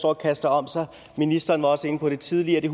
og kaster om sig ministeren var også inde på dem tidligere det